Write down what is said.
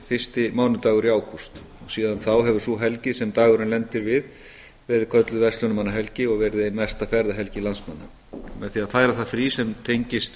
fyrsti mánudagur í ágúst síðan þá hefur sú helgi sem dagurinn lendir við verið kölluð verslunarmannahelgi og verið ein mesta ferðahelgi landsmanna með því að færa það frí sem tengist